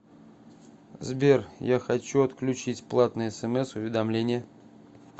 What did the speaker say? сбер я хочу отключить платные смс уведомления